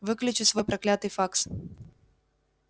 выключи свой проклятый факс